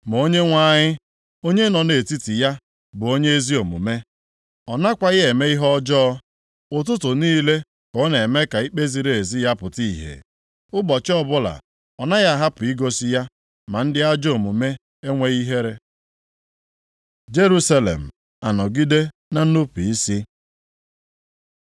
Ma Onyenwe anyị, onye nọ nʼetiti ya bụ onye ezi omume. Ọ nakwaghị eme ihe ọjọọ. + 3:5 Maọbụ, ihe na-ezighị ezi Ụtụtụ niile ka ọ na-eme ka ikpe ziri ezi ya pụta ìhè; ụbọchị ọbụla ọ naghị ahapụ igosi ya, ma ndị ajọ omume enweghị ihere. Jerusalem anọgide na nnupu isi